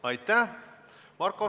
Aitäh!